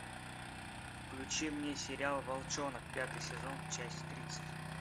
включи мне сериал волчонок пятый сезон часть тридцать